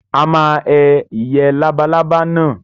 A máa he ìyẹ́ labalábá náà.